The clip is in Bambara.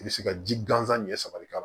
I bɛ se ka ji gansan ɲɛ saba de k'a la